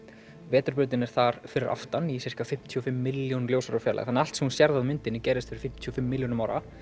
vetrarbrautin er þar fyrir aftan í sirka fimmtíu og fimm milljón ljósára fjarlægð þannig að allt sem þú sérð á myndinni gerðist fyrir fimmtíu og fimm milljónum ára